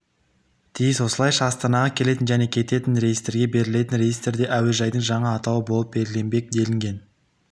тиіс осылайша астанаға келетін және кететін рейстерге берілетін рейстерде әуежайдың жаңа атауы болып белгіленбек делінген